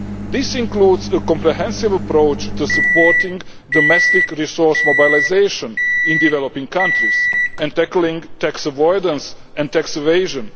This includes a comprehensive approach to supporting domestic resource mobilisation in developing countries and tackling tax avoidance and tax evasion.